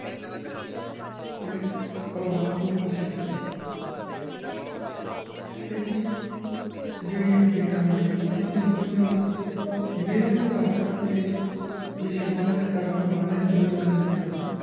ਆਪਣੇ ਪਰਿਵਾਰ ਨੂੰ ਖੁਸ਼ ਰਖੀਏ ਠੀਕ ਹੈ ਜੀ ਤੇ ਆਪਣੀ ਚੋਦਾਂ ਨੰਬਰ ਤੇ ਉਂਦੀ ਨਿਰ ਪਾਗਾ ਤੇ ਵਿਸ਼ਵਾਸ ਕਰਨ ਵਾਲੇ ਮੂਰਖ ਹੁੰਦੇ ਹੁਣ